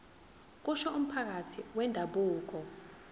kusho umphathi wendabuko